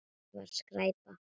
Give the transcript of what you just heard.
Það var skræpa.